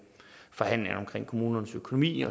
forhandlingerne om kommunernes økonomi